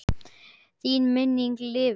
Þín minning lifir.